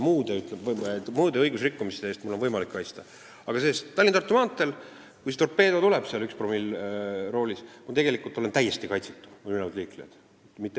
Muude õigusrikkumiste eest on mul võimalik ennast kaitsta, aga kui Tallinna–Tartu maanteel see torpeedo tuleb seal, üks promill roolis, olen ma tegelikult täiesti kaitsetu, samuti ülejäänud liiklejad.